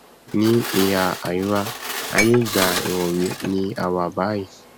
ní ìhà àríwá aiyé ìgbà ìwọwé ni a wà báyìí